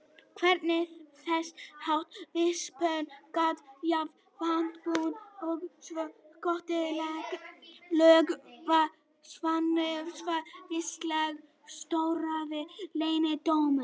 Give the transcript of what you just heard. Hvernig þessháttar víxlspor gat jafngilt vatnsbunu sem slökkti helgan loga vakningarinnar var vissulega torráðinn leyndardómur.